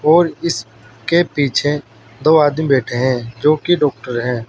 और इसके पीछे दो आदमी बैठे हैं जोकि डॉक्टर हैं।